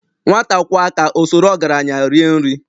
Nwata kwọọ aka,o soro ọgaranye rie nri.